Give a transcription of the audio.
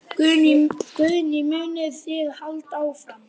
Guðný: Munið þið halda áfram?